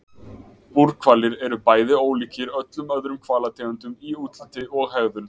Búrhvalir eru bæði ólíkir öllum öðrum hvalategundum í útliti og hegðun.